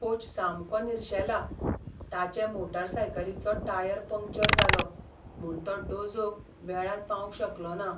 Coach सामको निर्शेला, ताचे मोटारसायकलीचो टायर पंक्चर जालो, म्हूण तो डोजोक वेळार पावंक शकलो ना.